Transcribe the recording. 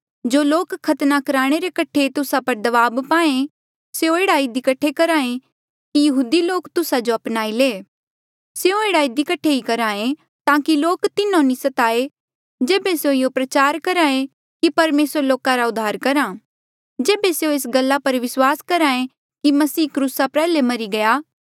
जो लोक खतना कुराणे रे कठे तुस्सा पर दबाब पाहें स्यों एह्ड़ा इधी कठे करहे कि यहूदी लोक तुस्सा जो अपनाई ले स्यों एह्ड़ा इधी कठे ही करहे ताकि लोक तिन्हो नी सताये जेबे स्यों ये प्रचार करहे कि परमेसर लोका रा उद्धार करहा जेबे स्यों एस गल्ला पर विस्वास करहे कि मसीह क्रूसा प्रयाल्हे मरी गया